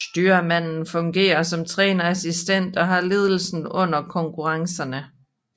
Styrmanden fungerer som trænerassistent og har ledelsen under konkurrencerne